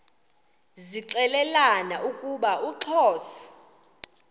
zixelelana ukuba uxhosa